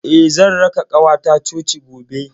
Eh, zan raka ƙawata coci gobe.